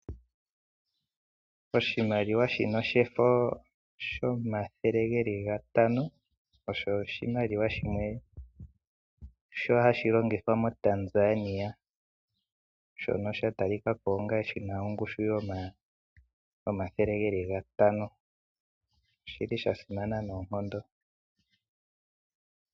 Oshimaliwa shino shefo shomathele geli gatano osho oshimaliwa shimwe sho hashi longithwa moTanzania, shono shatalikako onga shina ongushu yomathele geli gatano. Oshili shasimana noonkondo.